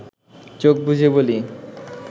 চোখ বুজে বলি